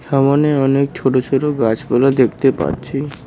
সামোনে অনেক ছোট ছোট গাছপালা দেখতে পারছি।